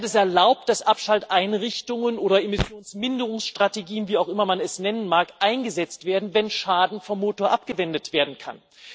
Sie hat es erlaubt, dass Abschalteinrichtungen oder Emissionsminderungsstrategien wie auch immer man es nennen mag eingesetzt werden, wenn Schaden vom Motor abgewendet werden kann.